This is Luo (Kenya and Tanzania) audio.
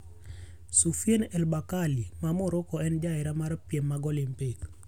Soufiane El Bakkali maa Morocco en jahera mar piem mag Olympic.